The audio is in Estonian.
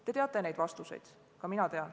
Te teate neid vastuseid, ka mina tean.